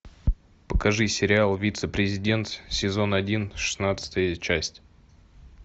покажи сериал вице президент сезон один шестнадцатая часть